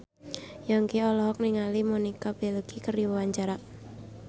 Yongki olohok ningali Monica Belluci keur diwawancara